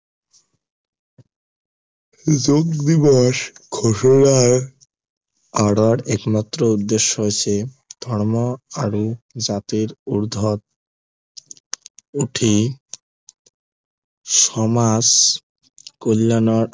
যোগ দিৱস ঘোষণাৰ আঁৰৰ একমাত্ৰ উদ্দেশ্য় হৈছে ধৰ্ম আৰু জাতিৰ উৰ্ধত উঠি সমাজ কল্য়াণৰ